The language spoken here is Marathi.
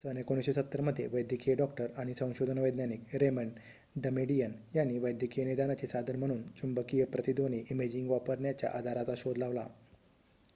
सन १९७० मध्ये वैद्यकीय डॉक्टर आणि संशोधन वैज्ञानिक रेमंड डमेडियन यांनी वैद्यकीय निदानाचे साधन म्हणून चुंबकीय प्रतिध्वनी इमेजिंग वापरण्याच्या आधाराचा शोध लावला